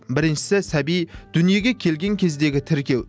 шісі сәби дүниеге келген кездегі тіркеу